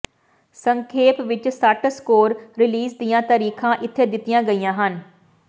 ਸੰਖੇਪ ਵਿੱਚ ਸੱਟ ਸਕੋਰ ਰੀਲੀਜ਼ ਦੀਆਂ ਤਾਰੀਖਾਂ ਇੱਥੇ ਦਿੱਤੀਆਂ ਗਈਆਂ ਹਨ